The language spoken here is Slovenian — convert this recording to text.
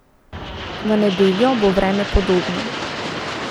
V nedeljo bo vreme podobno.